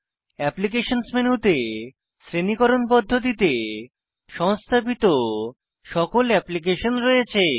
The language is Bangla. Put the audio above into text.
অ্যাপ্লিকেশনস মেনুতে শ্রেণীকরণ পদ্ধতিতে সংস্থাপিত সকল অ্যাপ্লিকেশন রয়েছে